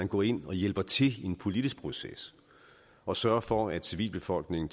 går ind og hjælper til i en politisk proces og sørger for at civilbefolkningen